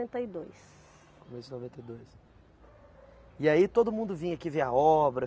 e dois. Começo de noventa e dois. E aí todo mundo vinha aqui ver a obra?